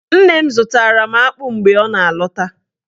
Nne m zụtara m akpụ mgbe ọ na-alọta